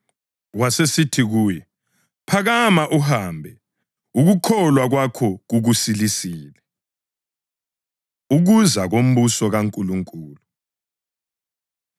Wasesithi kuye, “Phakama uhambe; ukukholwa kwakho kukusilisile.” Ukuza Kombuso KaNkulunkulu